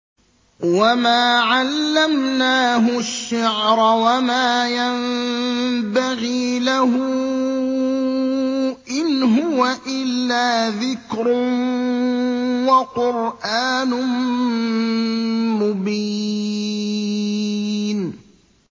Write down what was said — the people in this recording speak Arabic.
وَمَا عَلَّمْنَاهُ الشِّعْرَ وَمَا يَنبَغِي لَهُ ۚ إِنْ هُوَ إِلَّا ذِكْرٌ وَقُرْآنٌ مُّبِينٌ